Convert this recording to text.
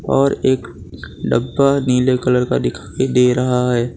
और एक डब्बा नीले कलर का दिखाई दे रहा है।